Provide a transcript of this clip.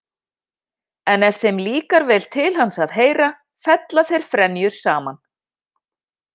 En ef þeim líkar vel til hans að heyra fella þeir frenjur saman.